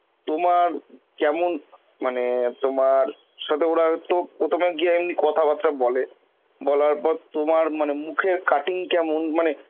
তোমার কেমন মানে তোমার সাথে ওরা হয়তো প্রথমে গিয়ে এমনি কথাবার্তা বলে, বলার পর তোমার মানে মুখের cutting কেমন মানে